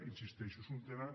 hi insisteixo és un tema